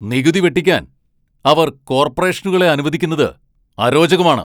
നികുതി വെട്ടിക്കാൻ അവർ കോർപ്പറേഷനുകളെ അനുവദിക്കുന്നത് അരോചകമാണ്.